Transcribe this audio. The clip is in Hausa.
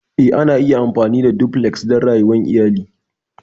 Eh, ana iya amfani da Duplex don rayuwar iyali.